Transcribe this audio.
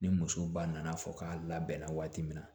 Ni muso ba nana fɔ k'a labɛnna waati min na